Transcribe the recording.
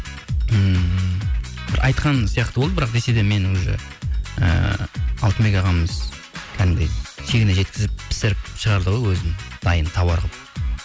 ммм айтқан сияқты болды бірақ десе де мен уже ыыы алтынбек ағамыз кәдімгідей шегіне жеткізіп пісіріп шығарды ғой өзі дайын товар қылып